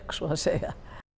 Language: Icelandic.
svo að segja